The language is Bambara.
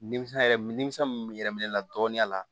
Nimisi yɛrɛ nimisa min bɛ yɛlɛn ne la dɔɔninya la